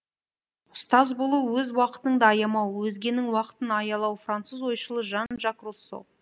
ұстаз болу өз уақытыңды аямау өзгенің уақытын аялау француз ойшылы жан жак руссо